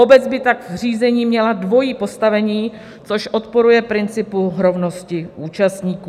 Obec by tak v řízení měla dvojí postavení, což odporuje principu rovnosti účastníků.